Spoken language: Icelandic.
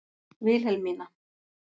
Vilhelmína